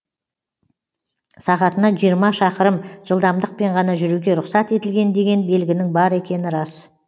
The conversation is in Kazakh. сағатына жиырма шақырым жылдамдықпен ғана жүруге рұқсат етілген деген белгінің бар екені рас